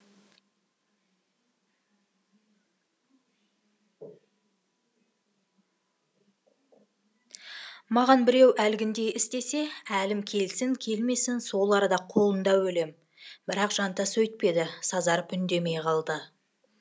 маған біреу әлгіндей істесе әлім келсін келмесін сол арада қолында өлем бірақ жантас өйтпеді сазарып үндемей қалды